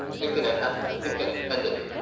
ಆಯ್ತು ಇಡ್ತೇನಾಯ್ತಾ ಸಿಗ್ತೇನೆ ಸಂಜೆ.